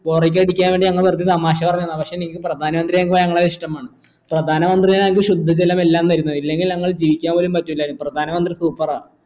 bore അടിക്കാതിരിക്കാൻ വേണ്ടി നമ്മൾ വെർതെ തമാശ പറന്നതാ പക്ഷെ എനിക്ക് പ്രധാന മന്ത്രിയെ എനിക്ക് ഭയങ്കര ഇഷ്ട്ടമാണ് പ്രധാന മന്ത്രിയാ ഞങ്ങക്ക് ശുദ്ധ ജലമെല്ലാം തരുന്നത് ഇല്ലെങ്കിൽ ഞങ്ങൾ ജീവിക്കാൻ പോലും പറ്റിലായിരുന്നു പ്രധാന മന്ത്രി super ആ